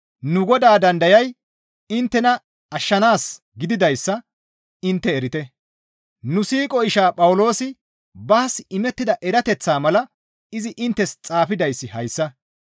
Nu Godaa dandayay inttena ashshanaas gididayssa intte erite; nu siiqo ishaa Phawuloosi baas imettida erateththa mala izi inttes xaafidayssi hayssa.